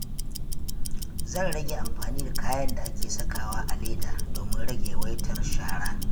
Zan rage amfani da kayan da ake sakawa a leda domin rage yawaitar shara.